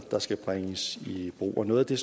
der skal tages i brug noget af det